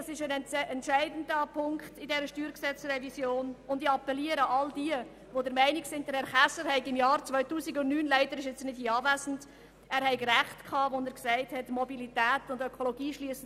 Das ist ein entscheidender Punkt in dieser StG-Revision, und ich appelliere an alle diejenigen, die der Meinung sind, Regierungsrat Käser habe im Jahr 2009 Recht gehabt, als er sagte, dass «Ökologie und Mobilität sich nicht widersprechen».